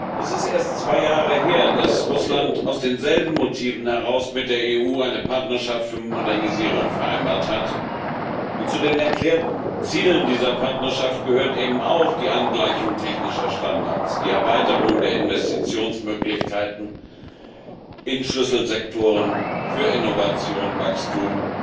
Es ist erst zwei Jahre her, dass Russland aus denselben Motiven mit der EU eine Partnerschaft für Modernisierung vereinbart hat, und zu den erklärten Zielen dieser Partnerschaft gehören auch die Angleichung technischer Standards, die Erweiterung der Investitionsmöglichkeiten in Schlüsselsektoren für Innovation und Wachstum